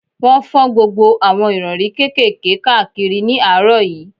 Wọ́n fọ́n gbogbo àwọn ìrọ̀rí kékèké káàkiri ní àárọ̀ yìí